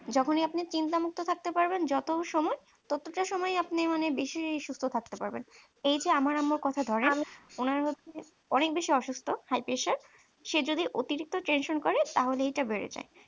না যখন আপনি চিন্তা মুক্ত থাকতে পারবেন যত সময় ততটা সময় আপনি মানে বেশি সুস্থ থাকতে পারবেন এই যে আমার আম্মু কথা ধরেন উনার হচ্ছে যে অনেক বেশি অসুস্থ high pressure সে যদি অতিরিক্ত tension করে তাহলে এটা বেড়ে যায়